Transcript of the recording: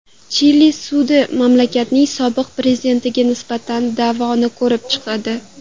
Chili sudi mamlakatning sobiq prezidentiga nisbatan da’voni ko‘rib chiqadi.